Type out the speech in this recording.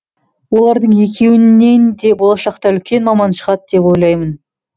олардың екеуінен де болашақта үлкен маман шығады деп ойлаймын